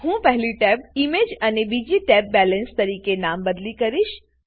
હું પહેલી tab image અને બીજી ટેબને બેલેન્સ તરીકે નામબદલી કરીશ